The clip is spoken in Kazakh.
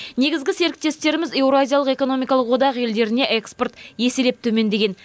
негізгі серіктестеріміз еуразиялық экономикалық одақ елдеріне экспорт еселеп төмендеген